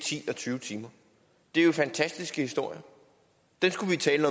ti eller tyve timer det er jo fantastiske historier og dem skulle vi tale